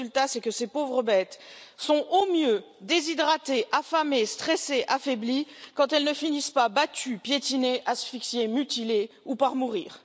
Le résultat, c'est que ces pauvres bêtes sont, au mieux, déshydratées, affamées, stressées, affaiblies, quand elles ne finissent pas battues, piétinées, asphyxiées, mutilées, ou, par mourir.